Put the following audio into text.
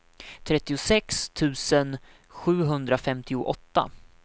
trettiosex tusen sjuhundrafemtioåtta